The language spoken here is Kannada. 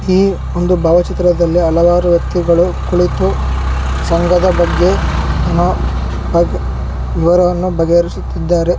ಈ ಬಹ್ವಾ ಚಿತ್ರದಲ್ಲಿ ಹಲವಾರು ವೆಕ್ತಿಗಳೂ ಕುಳಿತು ಸಂಘದ ಬಗೇ ವಿವರವನ್ನು ಬಗೆಹರಿಸುತಿದ್ದಾರೆ.